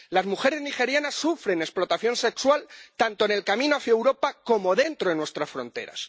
Las mujeres nigerianas sufren explotación sexual tanto en el camino hacia Europa como dentro de nuestras fronteras.